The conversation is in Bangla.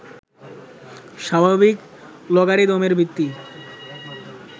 স্বাভাবিক লগারিদমের ভিত্তি